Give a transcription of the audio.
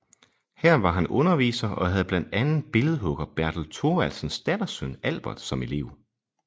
Her var han underviser og havde blandt andre billedhugger Bertel Thorvaldsens dattersøn Albert som elev